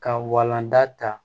Ka walanda ta